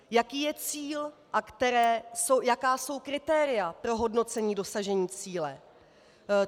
Jaký je cíl a jaká jsou kritéria pro hodnocení dosažení cíle?